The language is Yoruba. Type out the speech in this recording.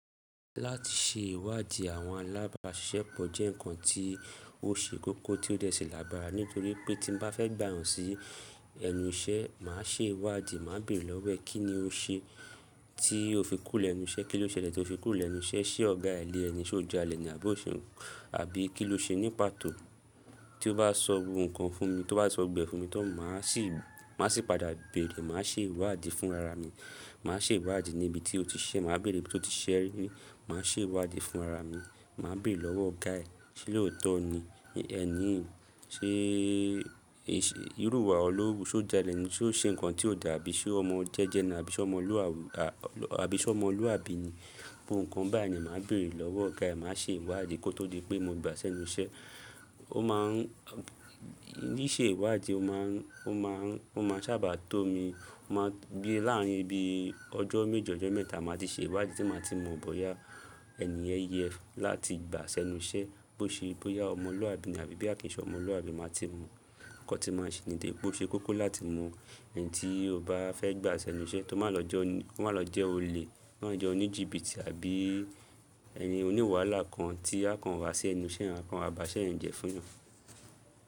Láti ṣe ìwádìí àwọn alábàṣiṣẹ́ pọ̀ jẹ́ ǹkan tí ó ṣe kókó tí ó dẹ sí làgbara, nítorí pé tí mo bá fẹ́ gbà yàn sí ẹnu iṣẹ́, màá ṣe ìwádìí, màá bèrè lọ́wọ́ ẹ̀ kí ni o ṣe tí o fi kú lẹ́nu iṣẹ́, kí ló ṣẹlẹ̀ tí o fi kú lẹ́nu iṣẹ́, ṣé ọ̀gá ẹ lè ẹni, ṣé ó jẹ́ alẹ́ni àbí ó ṣe àbí kí ló ṣe ní pàtó. Tí ó bá sọ gbogbo kan fún mi, tí ó bá sọ gbogbo e fún mi tan, má sì, màá sì padà bèrè, màá ṣe ìwádìí fún ara mi, màá ṣe ìwádìí ní ibi tí ó ti ṣiṣẹ, màá bèrè ibi tí ó ti ṣiṣẹ rí, màá ṣe ìwádìí fún ara mi, màá bèrè lọ́wọ́ ọ̀gá ẹ̀ ṣé lóòótọ́ ni ẹni yìí, ṣé ìrú wà wo lowu, ṣé ó ja alẹ́ni, ṣé ó ṣe ǹkan tí ó dà abí ṣé ọmọ jẹ́jẹ́ ni àbí ṣé ọmọlú àbí ni, gbogbo ǹkan báyìí ni màá bèrè lọ́wọ́ ọ̀gá ẹ̀, màá ṣe ìwádìí kó tó di pé mo gba sẹ́nu iṣẹ́. Ó máa ń, ní í ṣe ìwádìí, ó máa ń, ó máa ń, ó máa sábà tó mi, ó máa gbé láàrin ibi ọjọ́ méjọ ọjọ́ mẹ́ta, màá ti ṣe ìwádìí, tí màá ti mọ̀ bóyá ẹni yẹn yẹ láti gba sẹ́nu iṣẹ́, boṣe bóyá ọmọlú àbí ni àbí bóyá kín ṣe ọmọlú àbí, màá ti mọ̀. Ǹkan tí màá ṣe nde ṣe kókó láti mọ ẹni tí o bá fẹ́ gba sẹ́nu iṣẹ́ tó má lọ jẹ́, tó má lọ jẹ́ olè, tó má lọ jẹ́ oníjìbìtì àbí ẹni oníwàlá kan tí a kàn wá sí ẹnu iṣẹ́, a kàn wá ba iṣẹ́ eyan jẹ fún eyan.